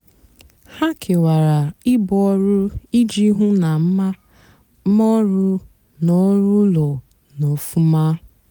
hà kewara íbú ọrụ íjì hú ná mà ọrụ nà ọrụ úló nà-ófúmá.